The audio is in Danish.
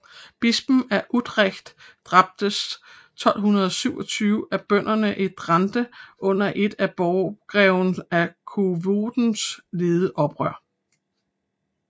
Bispen af Utrecht dræbtes 1227 af bønderne i Drente under et af borggreven af Coevorden ledet oprør